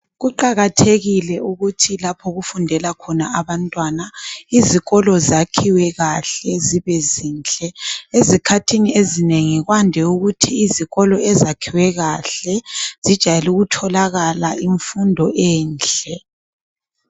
Kuqakathekile ukuthi lapho okufundela khona abantwana izikolo zakhiwe kahle, zibe zinhle. Ezikhathini ezinengi kwande ukuthi izikolo ezakhiwe kahle zijayele ukutholakala imfundo enhle.